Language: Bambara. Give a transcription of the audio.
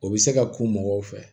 O bɛ se ka k'u mɔgɔw fɛ